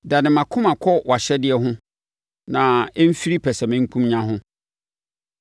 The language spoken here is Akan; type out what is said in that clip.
Dane mʼakoma kɔ wʼahyɛdeɛ ho na ɛmfiri pɛsɛmenkomenya ho.